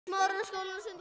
Eftir tvær, þrjár vikur.